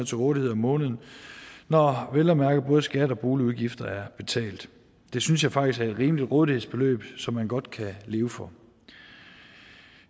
til rådighed om måneden når vel at mærke både skat og boligudgifter er betalt det synes jeg faktisk er et rimeligt rådighedsbeløb som man godt kan leve for